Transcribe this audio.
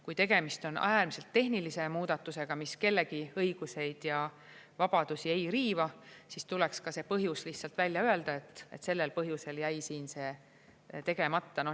Kui tegemist on äärmiselt tehnilise muudatusega, mis kellegi õigusi ja vabadusi ei riiva, siis tuleks ka see põhjus lihtsalt välja öelda, et sellel põhjusel jäi see tegemata.